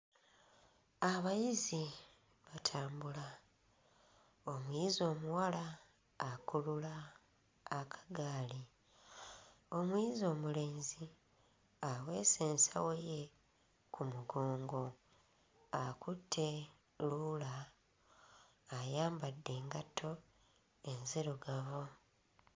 Abayizi batambula, omuyizi omuwala akulula akagaali, omuyizi omulenzi aweese ensawo ye ku mugongo, akutte luula, ayambadde engatto enzirugavu